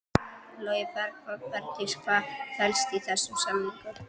Logi Bergmann: Bryndís hvað felst í þessum samningum?